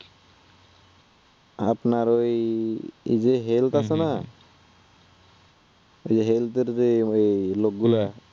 আপানার ঐ যে health আছে না, যে health এর যে ঐ লোকগুলা